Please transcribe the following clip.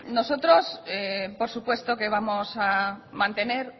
nosotros por supuesto que vamos a mantener